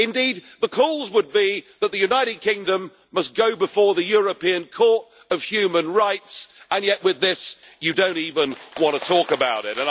Indeed, the calls would be that the United Kingdom must go before the European Court of Human Rights, and yet you don't even want to talk about this.